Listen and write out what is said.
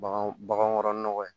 Bagan bagan kɔrɔ nɔgɔ ye